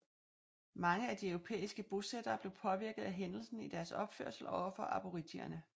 Mange af de europæiske bosættere blev påvirket af hændelsen i deres opførsel over for aboriginerne